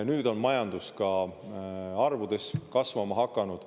Nüüd on majandus ka arvudes kasvama hakanud.